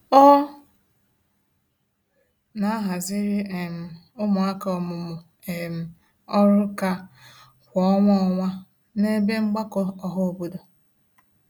Ọ na-ahaziri um ụmụaka ọmụmụ um ọrụnkà kwa ọnwa ọnwa n'ebe mgbakọ ọhaobodo.